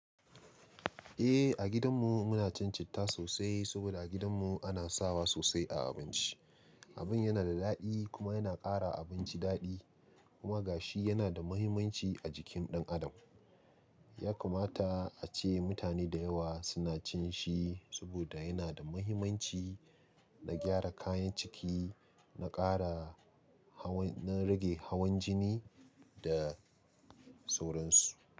Eh a gidan mu muna cin citta sosai saboda a gidan mu ana sawa sosai a abinci. Abin yana da daɗi kuma yana kara abinci daɗi kuma gashi yana da muhimmanci a jikin ɗan adam. Ya kamata ace mutane da yawa suna cin shi saboda yana da muhimmanci na gyara kayan ciki, na kara hawan, na rage hawan jini da sauransu.